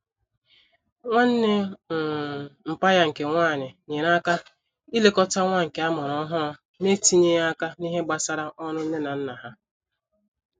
Nwanne um mpa ya nke nwanyi nyere aka ilekota nwa nke amuru ohuru n'etinyeghi aka n'ihe gbasara oru Nne na Nna ha